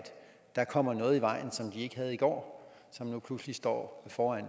der kommer noget i vejen som de ikke havde i går og som nu pludselig står foran